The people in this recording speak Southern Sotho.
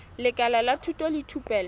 lekala la thuto le thupelo